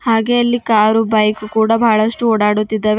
ಹಾಗೆ ಇಲ್ಲಿ car bike ಕೂಡ ಬಹಳಷ್ಟು ಓಡಾಡುತ್ತಿದ್ದಾವೆ.